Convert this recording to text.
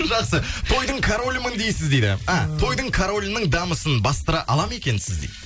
жақсы тойдың королімін дейсіз дейді а тойдың королінің дамысын бастыра ала ма екенсіз дейді